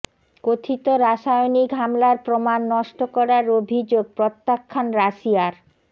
কথিত রাসায়নিক হামলার প্রমাণ নষ্ট করার অভিযোগ প্রত্যাখ্যান রাশিয়ার